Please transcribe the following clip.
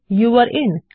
যৌরে in